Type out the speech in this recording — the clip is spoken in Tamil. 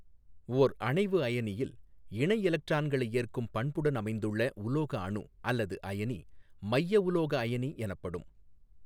ஓா் அணைவு அயனியில் இணை எலக்ட்ரான்களை ஏற்கும் பண்புடன் அமைந்துள்ள உலோக அணு அல்லது அயனி மைய உலோக அயனி எனப்படும்.